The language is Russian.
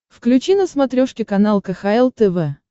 включи на смотрешке канал кхл тв